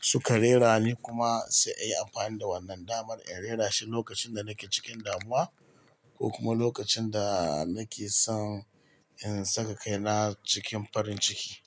suka rera ni kuma sai ayi amfani da wannan damar in rera shi lokacin da nake cikin damuwa ko kuma lokacin da nake son in saka kaina cikin farin ciki.